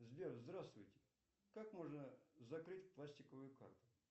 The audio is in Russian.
сбер здравствуйте как можно закрыть пластиковую карту